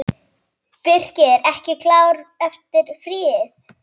Birkir ekki klár eftir fríið?